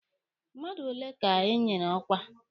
Mmadụ ole ka enyere ọkwa?